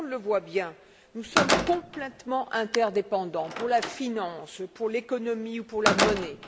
Tout le monde le voit bien nous sommes complètement interdépendants pour la finance, pour l'économie ou pour la monnaie